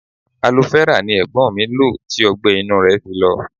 Aloe-vera ni Ẹ̀gbọ́n mi lo tí ọgbẹ-inú rẹ fi lọ.